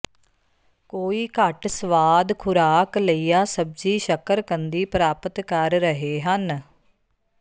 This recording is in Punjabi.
ਕੋਈ ਘੱਟ ਸਵਾਦ ਖੁਰਾਕ ਲਈਆ ਸਬਜ਼ੀ ਸ਼ੱਕਰਕੰਦੀ ਪ੍ਰਾਪਤ ਕਰ ਰਹੇ ਹਨ